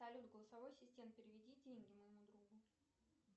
салют голосовой ассистент переведи деньги моему другу